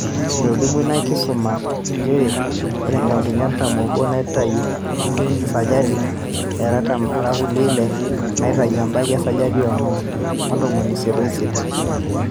etolimuo ina kisuma nchere ore inkaontini artam o obo neitayu esajati e aratam ore kulie ile neitayu ebaiki esajati e onom o ntomoni isiet o isiet.